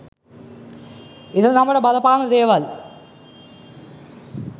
ඉරණමට බලපාන දේවල්.